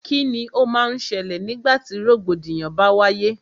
Kíni o má n ṣẹlẹ̀ nígbà tí rògbòdìyàn bá wáyé?